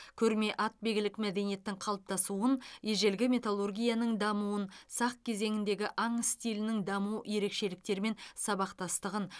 көрме атбегілік мәдениеттің қалыптасуын ежелгі металлургияның дамуын сақ кезеңіндегі аң стилінің даму ерекшеліктері мен сабақтастығын